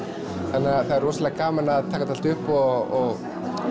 þannig að það er rosalega gaman að taka þetta allt upp og